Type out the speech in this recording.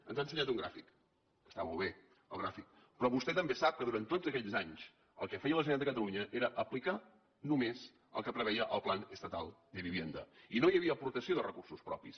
ens ha ensenyat un gràfic que està molt bé el gràfic però vostè també sap que durant tots aquests anys el que feia la generalitat de catalunya era aplicar només el que preveia el plan estatal de vivienda i no hi havia aportació de recursos propis